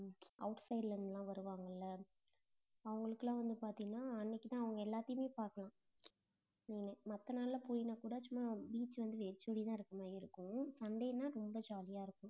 outside ல இருந்துலாம் வருவாங்கல்ல அவங்களுக்கெல்லாம் வந்து பாத்தீங்கன்னா, அன்னைக்குதான் அவங்க எல்லாத்தையுமே பார்க்கலாம் நீங்க மத்த நாளிலே போயினாக்கூட, சும்மா beach வந்து வெறிச்சோடிதான் இருக்கிற மாதிரி இருக்கும் sunday னா ரொம்ப jolly ஆ இருக்கும்.